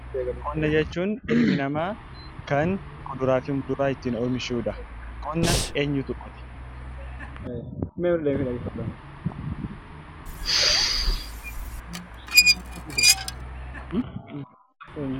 Qonna jechuun kan dhalli namaa kuduraa fi muduraa ittiin oomishuu dha. Qonna eenyuutu qota?